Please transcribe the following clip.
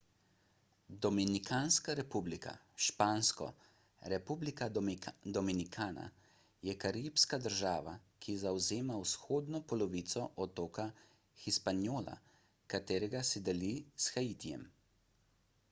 dominikanska republika špansko: república dominicana je karibska država ki zavzema vzhodno polovico otoka hispaniola katerega si deli s haitijem